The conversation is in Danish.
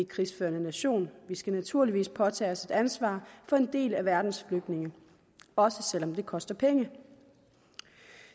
krigsførende nation og vi skal naturligvis påtage os et ansvar for en del af verdens flygtninge også selv om det koster penge